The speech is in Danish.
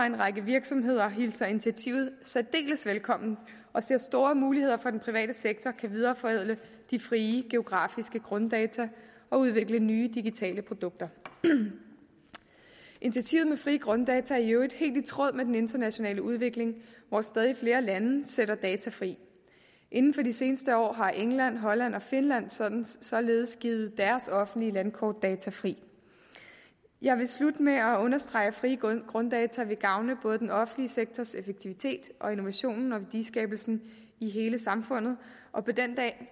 en række virksomheder hilser initiativet særdeles velkommen og ser store muligheder for at den private sektor kan videreforædle de frie geografiske grunddata og udvikle nye digitale produkter initiativet med frie grunddata er i øvrigt helt i tråd med den internationale udvikling hvor stadig flere lande sætter data fri inden for de seneste år har england holland og finland således således givet deres offentlige landkortdata fri jeg vil slutte med at understrege at frie grunddata vil gavne både den offentlige sektors effektivitet og innovationen og værdiskabelsen i hele samfundet og på